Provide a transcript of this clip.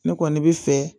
Ne kɔni bɛ fɛ